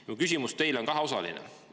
Minu küsimus teile on kaheosaline.